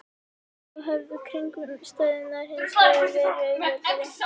Þá höfðu kringumstæðurnar hins vegar verið auðveldari.